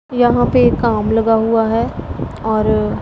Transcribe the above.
यहां पे काम लगा हुआ है और--